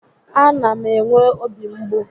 A na m enwe obi mgbu